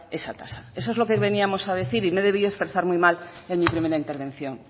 esa tasa eso es lo que veníamos a decir y me he debido expresar muy mal en mi primera intervención